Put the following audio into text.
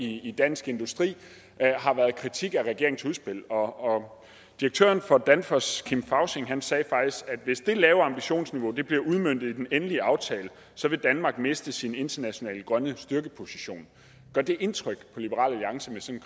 det i dansk industri har været kritik af regeringens udspil og direktøren for danfoss kim fausing sagde faktisk at hvis det lave ambitionsniveau bliver udmøntet i den endelige aftale vil danmark miste sin internationale grønne styrkeposition gør det indtryk på liberal alliance med sådan